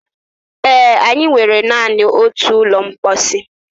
Ee, anyị nwere naanị otu ụlọ mposi